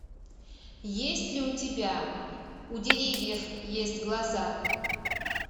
есть ли у тебя у деревьев есть глаза